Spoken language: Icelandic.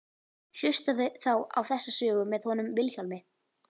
Hlustaðu þá á þessa sögu með honum Vilhjálmi.